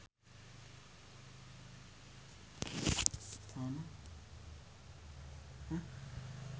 Ipank BIP jeung The Beatles keur dipoto ku wartawan